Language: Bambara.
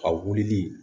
A wulili